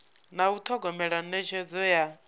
na u thogomela netshedzo ya